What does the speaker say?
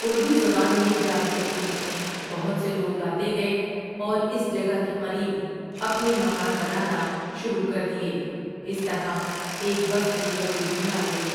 اردو زبان میں جال کہتے ہیں بہت سے لوگ آتے گئے اور اس جگہ کے قریب اپنے مکان بنانا شروع کر دیے اس طرح ایک بستی وجود میں آ گئی ۔